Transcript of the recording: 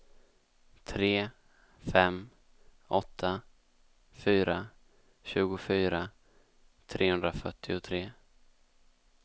tre fem åtta fyra tjugofyra trehundrafyrtiotre